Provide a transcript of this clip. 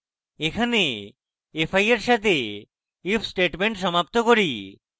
এবং এখানে আমরা fi এর সাথে if statement সমাপ্ত করি